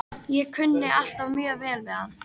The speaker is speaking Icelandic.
Ég kunni alltaf mjög vel við hann.